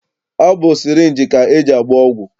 Ọ bụ sịrịnjị ka e ji agba ọgwụ.